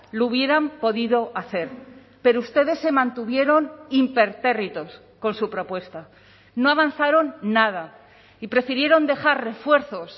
lo hubieran podido hacer pero ustedes se mantuvieron impertérritos con su propuesta no avanzaron nada y prefirieron dejar refuerzos